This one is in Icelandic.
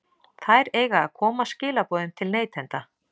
Þær eiga að koma skilaboðum til neytenda.